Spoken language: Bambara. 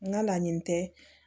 N ka laɲini tɛ